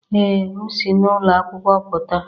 Ee m si n'ụlọ akwụkwọ pụta.